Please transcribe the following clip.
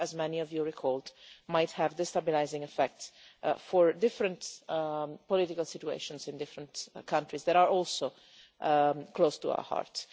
That, as many of you recalled, might have a destabilising effect for different political situations in different countries that are also close to our hearts.